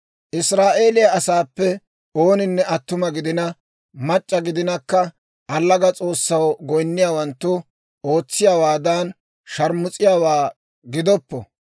«Israa'eeliyaa asaappe ooninne attuma gidina, mac'c'a gidinakka, allaga s'oossaw goyinniyaawanttu ootsiyaawaadan, sharmus'iyaawaa gidoppo.